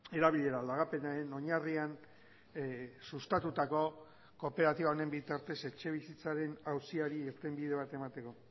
erabilera lagapenaren oinarrian sustatutako kooperatiba honen bitartez etxebizitzaren auziari irtenbide bat emateko